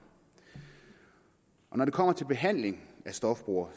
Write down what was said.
når det kommer til behandling af stofbrugere